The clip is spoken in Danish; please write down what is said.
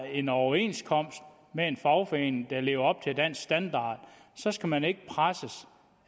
en overenskomst med en fagforening der lever op til dansk standard så skal man ikke presses